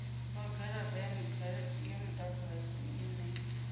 lwa garata ya mudagasi ine